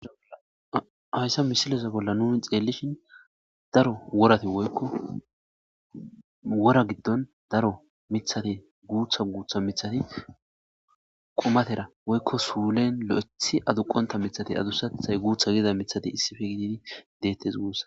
hayssa misileza bolla nuni xeellishin daro worati woykko wora giddon daro mithate guutha guutha mithati komatera woykko suulen lo7ethi aduqonta mithati adusathay guutha gida mithati issife gididi deettes guussa.